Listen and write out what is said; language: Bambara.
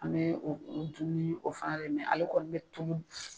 An be o dumuni o fana de mɛn ale kɔni be tobi.